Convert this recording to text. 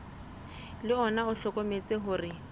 le ona o hlokometse hore